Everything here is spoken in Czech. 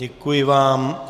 Děkuji vám.